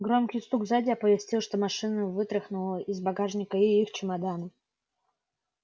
громкий стук сзади оповестил что машина вытряхнула из багажника и их чемоданы